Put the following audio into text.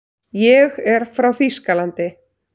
Ég er frá Þýskalandi.